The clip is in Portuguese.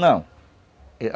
Não.